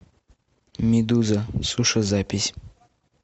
медуза суши запись